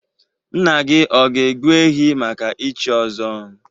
Nna gị o ga-egbu ehi maka ichi ọzọ?